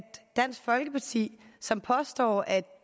dansk folkeparti som påstår at